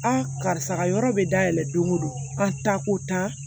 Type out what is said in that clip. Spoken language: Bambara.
karisa ka yɔrɔ bɛ dayɛlɛ don o don an ta ko tan